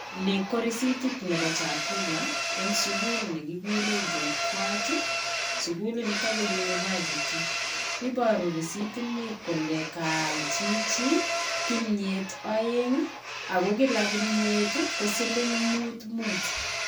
Nii ko recetit nebo chakula eng sukul nekikurei JGUAT sukulin nito ko university. Iboru resitini kole kaal chichi kimnyet aeng ako kila kimyet ko siling mut mut.